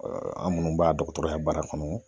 an minnu b'a dɔgɔtɔrɔya baara kɔnɔ